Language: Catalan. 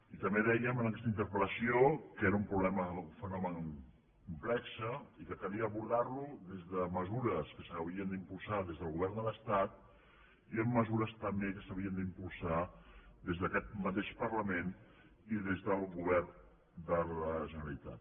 i també dèiem en aquesta interpelnomen complex i que calia abordar lo des de mesures que s’haurien d’impulsar des del govern de l’estat i amb mesures també que s’haurien d’impulsar des d’aquest mateix parlament i des del govern de la generalitat